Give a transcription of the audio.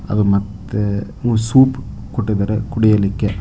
ಅದು ಮತ್ತೆ ಸೂಪ್ ಕೊಟ್ಟಿದ್ದಾರೆ ಕುಡಿಯಲಿಕ್ಕೆ.